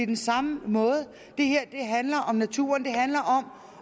den samme måde det her handler om naturen det handler